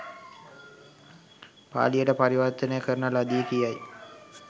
පාලියට පරිවර්තනය කරන ලදී.” කියයි